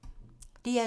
DR2